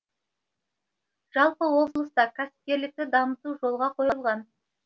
жалпы облыста кәсіпкерлікті дамыту жолға қойылған